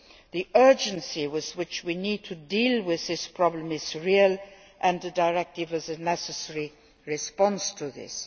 The urgency with which we need to deal with this problem is real and the directive is a necessary response to this.